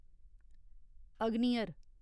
अग्नियर